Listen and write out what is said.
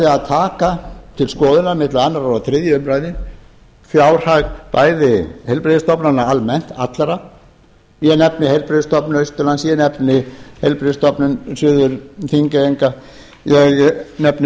að taka til skoðunar milli annars og þriðju umræðu fjárhag bæði heilbrigðisstofnana almennt allra ég nefni heilbrigðisstofnun austurlands ég nefni heilbrigðisstofnun suður þingeyinga ég nefni